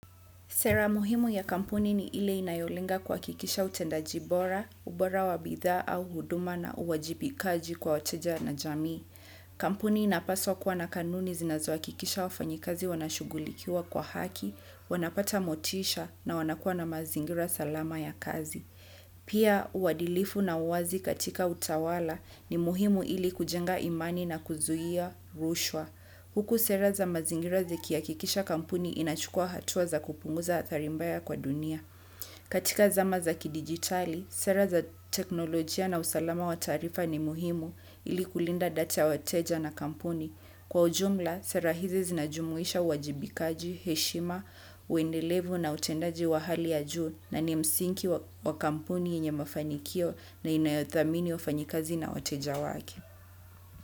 Sera muhimu ya kampuni ni ile inayolenga kuhakikisha utendaji bora, ubora wa bidhaa au huduma na uwajibikaji kwa wateja na jamii. Kampuni inapaswa kuwa na kanuni zinazohakikisha wafanyikazi wanashughulikiwa kwa haki, wanapata motisha na wanakua na mazingira salama ya kazi. Pia uadilifu na uazi katika utawala ni muhimu ili kujenga imani na kuzuia rushwa. Huku sera za mazingira zihakikisha kampuni inachukua hatua za kupunguza adhari mbaya kwa dunia. Katika zama za kidigitali, sera za teknolojia na usalama wa taarifa ni muhimu ili kulinda data ya wateja na kampuni. Kwa ujumla, sera hizi zinajumuisha uwajibikaji, heshima, uendelevu na utendaji wa hali ya juu na ni msingi wa kampuni yenye mafanikio na inayothamini wafanyikazi na wateja wake.